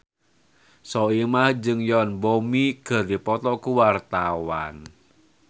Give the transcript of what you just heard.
Soimah jeung Yoon Bomi keur dipoto ku wartawan